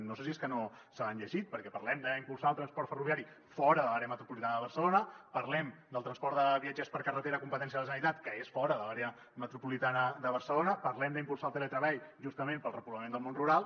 no sé si és que no se l’han llegit perquè parlem d’impulsar el transport ferroviari fora de l’àrea metropolitana de barcelona parlem del transport de viatgers per carretera competència de la generalitat que és fora de l’àrea metropolitana de barcelona parlem d’impulsar el teletreball justament per al repoblament del món rural